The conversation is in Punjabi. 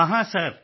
ਹਾਂ ਹਾਂ ਸਰ